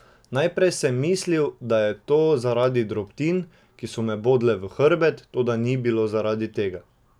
Najprej sem mislil, da je to zaradi drobtin, ki so me bodle v hrbet, toda ni bilo zaradi tega.